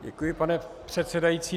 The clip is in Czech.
Děkuji, pane předsedající.